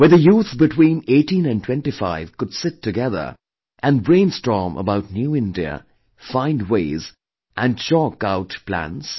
Where the youth between 18 and 25 could sit together and brain storm about new India, find ways and chalk our plans